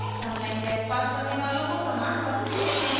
online test pass करने वालों को प्रमाण पत्र भी देते हैं